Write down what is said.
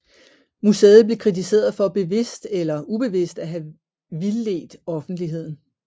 Museet blev kritiseret for bevidst eller eller ubevidst at have vildledt offentligeden